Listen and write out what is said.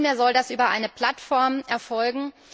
Nunmehr soll das über eine Plattform erfolgen.